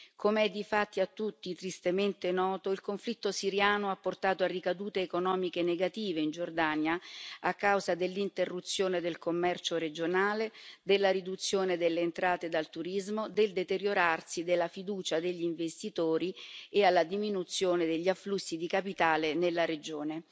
Come è difatti a tutti tristemente noto, il conflitto siriano ha portato a ricadute economiche negative in Giordania a causa dell'interruzione del commercio regionale, della riduzione delle entrate dal turismo, del deteriorarsi della fiducia degli investitori e alla diminuzione degli afflussi di capitale nella regione.